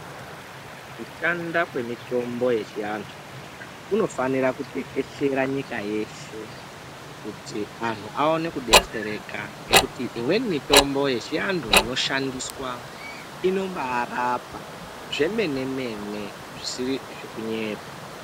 Kushanda kwe mitombo yechi antu kuno fanira kutekeshera nyika yeshe kuti anhu awone ku detsereka ngekuti imweni mitombo yechi antu ino shandiswa inombai rapa zve mene mene zvisiri zveku nyepa.